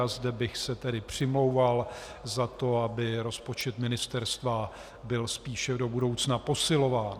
A zde bych se tedy přimlouval za to, aby rozpočet ministerstva byl spíše do budoucna posilován.